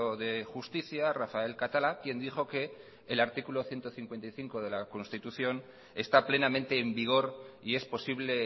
de justicia rafael catalá quien dijo que el artículo ciento cincuenta y cinco de la constitución está plenamente en vigor y es posible